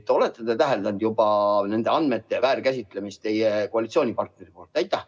Kas olete täheldanud juba nende andmete väärkasutamist teie koalitsioonipartneri poolt?